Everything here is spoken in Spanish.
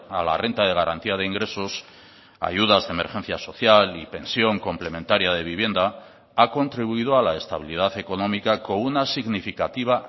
a la renta de garantía de ingresos ayudas de emergencia social y pensión complementaria de vivienda ha contribuido a la estabilidad económica con una significativa